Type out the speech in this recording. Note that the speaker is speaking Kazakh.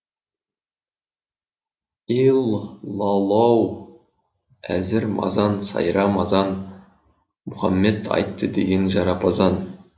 ил ла лоу әзір мазан сайра мазан мұхаммед айтты деген жарапазан